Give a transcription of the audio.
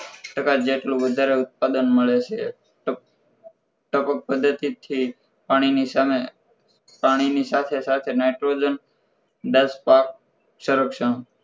ટકા જેટલું વધારે ઉત્પાદન મળે છે ટપક પદ્ધતિ થી પાણીની સામે પાણીની સાથે સાથે nitrogen દસ પાક સંરક્ષણ